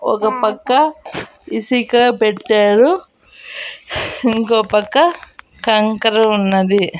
ఒకపక్క ఇసీక పెట్టారు ఇంకో పక్క కంకర ఉన్నది.